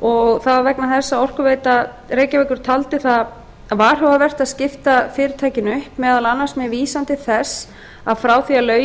og það var vegna þess að orkuveita reykjavíkur taldi það varhugavert að skipta fyrirtækinu upp meðal annars með vísan til þess að frá því að lögin